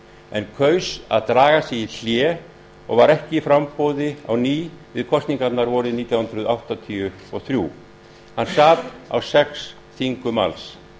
en kaus að draga sig í hlé og var ekki í framboði á ný við kosningarnar vorið nítján hundruð áttatíu og þrjú hann sat á sex þingum alls